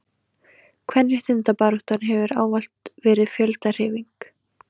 kvenréttindabaráttan hefur ávallt verið fjöldahreyfing